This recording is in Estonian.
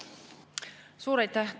Suur aitäh!